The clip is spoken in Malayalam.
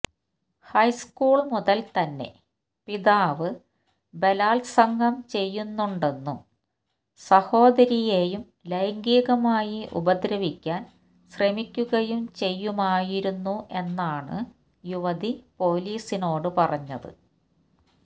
ഹൈസ്കൂള് മുതല് തന്നെ പിതാവ് ബലാത്സംഗം ചെയ്യുന്നുണ്ടെന്നും സഹോദരിയെയും ലൈംഗികമായി ഉപദ്രവിക്കാന് ശ്രമിക്കുകയും ചെയ്യുമായിരുന്നു എന്നാണ് യുവതി പോലീസിനോട് പറഞ്ഞത്